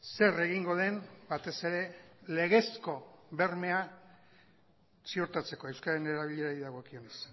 zer egingo den batez ere legezko bermea ziurtatzeko euskararen erabilerari dagokionez